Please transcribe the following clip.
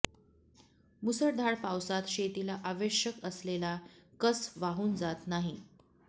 मुसळधार पावसात शेतीला आवश्यक असलेला कस वाहून जात नाही